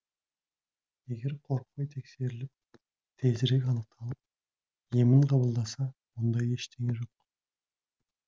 егер қорықпай тексеріліп тезірек анықталып емін қабылдаса онда ештеңе жоқ